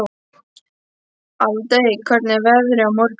Aldey, hvernig er veðrið á morgun?